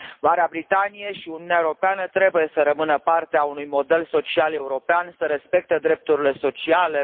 Marea Britanie și Uniunea Europeană trebuie să rămână parte a unui model social european, să respecte drepturile sociale.